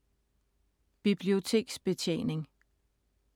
Biblioteksbetjening